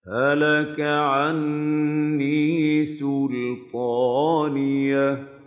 هَلَكَ عَنِّي سُلْطَانِيَهْ